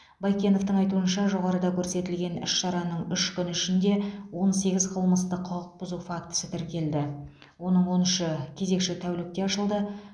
байкеновтің айтуынша жоғарыда көрсетілген іс шараның үш күні ішінде он сегіз қылмыстық құқық бұзу фактісі тіркелді оның он үші кезекші тәулікте ашылды